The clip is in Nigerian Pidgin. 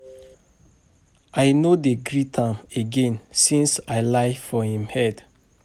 I no dey greet am again since I lie for im head